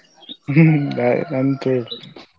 ನಾನ್ ಕೇಳ್ತೇನೆ.